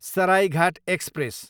Saraighat express